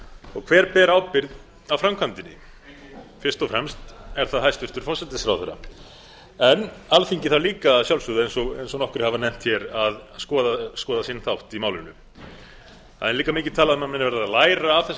og hver ber ábyrgð á framkvæmdinni enginn fyrst og fremst er það hæstvirtur forsætisráðherra en alþingi þarf líka að sjálfsögðu eins og nokkrir hafa nefnt hér að skoða sinn þátt í málinu það er líka mikið talað um að menn verði að læra af